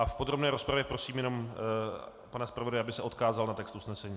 A v podrobné rozpravě prosím jenom pana zpravodaje, aby se odkázal na text usnesení.